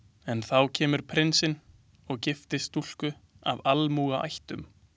En þá kemur prinsinn og giftist stúlku af almúgaættum.